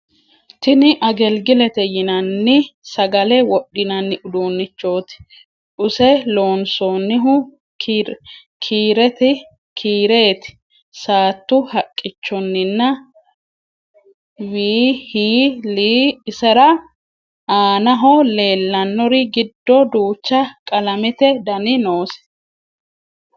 Tinni ageligilete yinanni sagale wodhinanni uduunichoti use loonsonihu kireeti, saatu haqichonninna w. h. l Isera aanaoho leelanori giddo duucha qalamete Dani noose